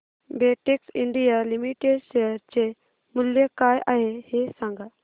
Betex India Limited share चे मूल्य काय आहे हे सांगा